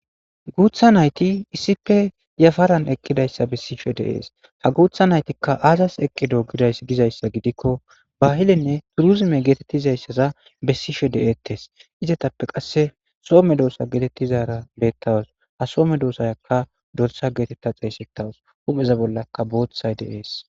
Guuththa nayti issipe yafaran eqqidayssa bessishe de'es ha guuththa naytika azas eqqido gizayssa gidiko bahilenne turuzume geetetizayssaza bessishe de'etes izetappe qasse so medosa getetizarakka beetawus ha medosaykka dorsa geeteta xesetawus hupheza bollaka booththay de'es.